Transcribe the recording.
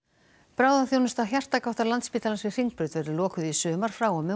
bráðaþjónusta hjartagáttar Landspítalans við Hringbraut verður lokuð í sumar frá og með